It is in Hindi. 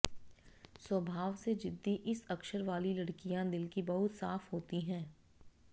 स्वभाव से जिद्दी इस अक्षर वाली लड़कियां दिल की बहुत साफ होती हैं